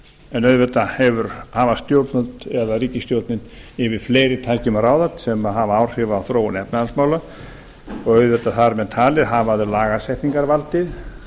en auðvitað hafa stjórnvöld eða ríkisstjórnin yfir fleiri tækjum að ráða sem hafa áhrif á þróun efnahagsmála og auðvitað þar með talið hafa þau lagasetningarvaldið